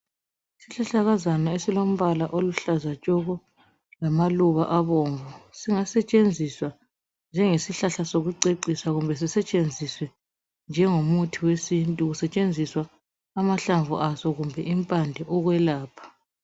Isihlahlakazana esilombala oluhlaza tshoko lamaluba abomvu, singasetshenziswa njengesihlahla sokucecisa kumbe sisetshenziswe njengomuthi wesintu kusetshenziswa amahlamvu aso kumbe impande ukwelapha.